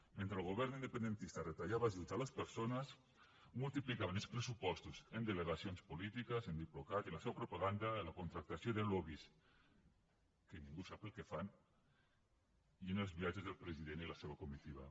mentre el govern independentista retallava ajuts a les persones multiplicaven els pressupostos en delegacions polítiques en diplocat i la seua propaganda en la contractació de lobbys que ningú sap el que fan i en els viatges del president i la seva comitiva